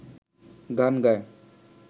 গান গায়